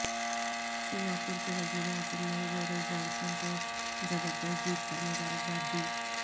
سنگا پور کے وزیر اعظم نے بورس جانسن کو زبردست جیت پر مبارکباد دی